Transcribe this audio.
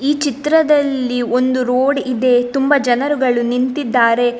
ಈ ಚಿತ್ರದಲ್ಲಿ ಒಂದು ರೋಡ್‌ ಇದೆ ತುಂಬ ಜನರುಗಳು ನಿಂತಿದ್ದಾರೆ.